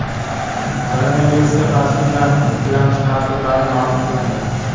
Koronavirusga qarshi emlanishning ikkilamchi ta’sirlari ma’lum qilindi.